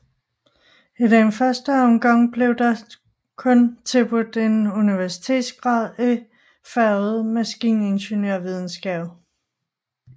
I første omgang blev der kun tilbudt en universitetsgrad i faget maskiningeniørvidenskab